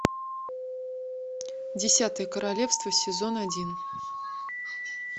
десятое королевство сезон один